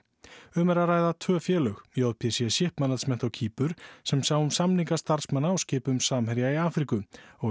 um er að ræða tvö félög j p c Shipmanagement á Kýpur sem sá um samninga starfsmanna á skipum Samherja í Afríku og